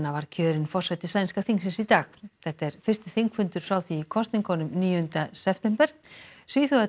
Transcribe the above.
var kjörinn forseti sænska þingsins í dag þetta er fyrsti þingfundur frá því í kosningunum níunda september